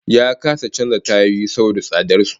Ya kasa canza tayoyi saboda tsadar su